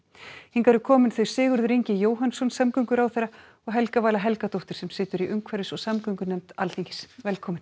hingað eru komin þau Sigurður Ingi Jóhannsson samgönguráðherra og Helga Vala Helgadóttir sem situr í umhverfis og samgöngunefnd Alþingis velkomin